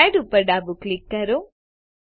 add ઉપર ડાબું click કરો